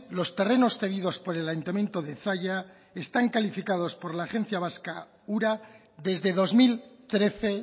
los terrenos cedidos por el ayuntamiento de zalla están calificados por la agencia vasca ura desde dos mil trece